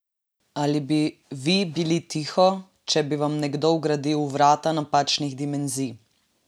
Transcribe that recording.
Ali bi vi bili tiho, če bi vam nekdo vgradil vrata napačnih dimenzij?